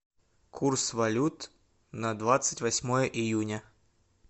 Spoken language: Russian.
курс валют на двадцать восьмое июня